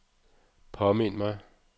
påmind mig